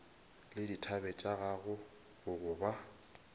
le dithabe tša go gogoba